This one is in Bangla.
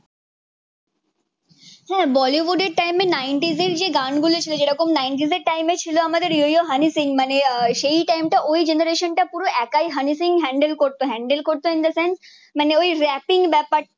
হা বলিউড এর টাইম নাইন্টিজের যেই গান গুলো ছিল জেরোম নাইন্টিজের টাইম এ ছিল আমাদের ও ও হয়নি সিংমানে সেই টাইম টা ওই জেনারেশন টা পুরো একই হয়নি সিং হ্যান্ডেল করতো হ্যান্ডেল করতো ইন দা সেন্স মানে ওই রাপ্পিযং ব্যাপারটা